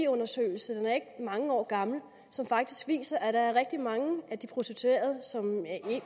undersøgelse og den er ikke mange år gammel som faktisk viser at der er rigtig mange af de prostituerede